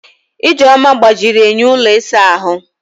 Ijeoma gbajiri enyo ụlọ ịsa ahụ.